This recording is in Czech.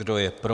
Kdo je pro?